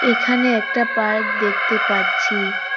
এখানে একটা পার্ক দেখতে পাচ্ছি।